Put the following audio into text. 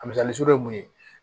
Misali zo ye mun ye